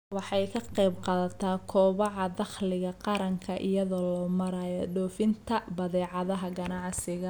Waxay ka qaybqaadataa kobaca dakhliga qaranka iyada oo loo marayo dhoofinta badeecadaha ganacsiga.